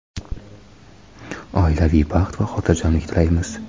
oilaviy baxt va xotirjamlik tilaymiz.